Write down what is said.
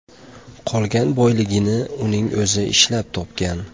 Qolgan boyligini uning o‘zi ishlab topgan.